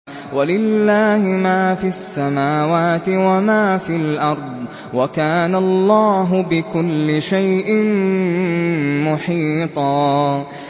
وَلِلَّهِ مَا فِي السَّمَاوَاتِ وَمَا فِي الْأَرْضِ ۚ وَكَانَ اللَّهُ بِكُلِّ شَيْءٍ مُّحِيطًا